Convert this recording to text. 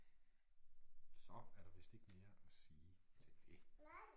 Så er der vist ikke mere at sige til det